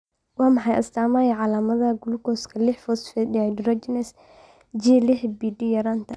Waa maxay astamaha iyo calaamadaha gulukooska liix phosphate dehydrogenase (G lix PD) yaraanta?